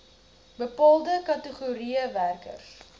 bepaalde kategorieë werkers